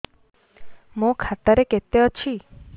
ମୋ ଖାତା ରେ କେତେ ଅଛି